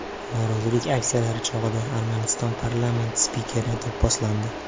Norozilik aksiyalari chog‘ida Armaniston parlamenti spikeri do‘pposlandi.